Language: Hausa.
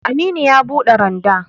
Aminu ya buɗe randa